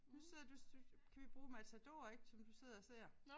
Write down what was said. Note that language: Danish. Nu sidder du du kan vi bruge Matador ik som du sidder og ser